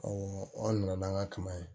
Awɔ an nana n'an ka kaba ye